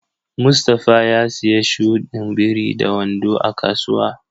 Mustafa ya siya shudin biri da wando a kasuwa.